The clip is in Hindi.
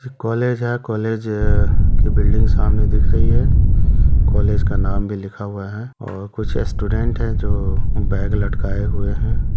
कॉलेज है कॉलेज अ की बिल्डिंग सामने दिख रही है कॉलेज क नाम भी लिखा हुआ है और कुछ स्टूडेंट है जो बैग लटकाए हुए हैं।